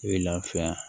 I bɛ lafiya